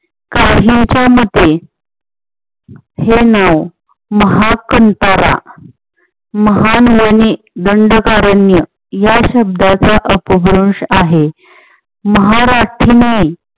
काहींच्या मते हे नाव महा कांतारा महान वनी दंडकारण्य या शब्दाचा अपभ्रंश आहे. महा राखीने